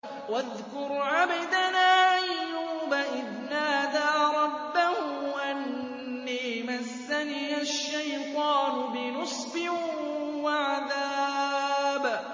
وَاذْكُرْ عَبْدَنَا أَيُّوبَ إِذْ نَادَىٰ رَبَّهُ أَنِّي مَسَّنِيَ الشَّيْطَانُ بِنُصْبٍ وَعَذَابٍ